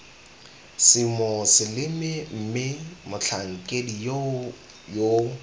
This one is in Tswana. semoseleme mme motlhankedi yoo yo